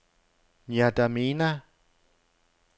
N'Djamena